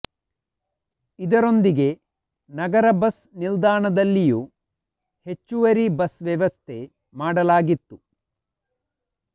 ಇದರೊಂದಿಗೆ ನಗರ ಬಸ್ ನಿಲ್ದಾಣದಲ್ಲಿಯೂ ಹೆಚ್ಚುವರಿ ಬಸ್ ವ್ಯವಸ್ಥೆ ಮಾಡಲಾಗಿತ್ತು